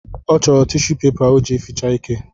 Ọ chọrọ tishu pepa o ji eficha ike